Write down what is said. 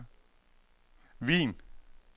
Wien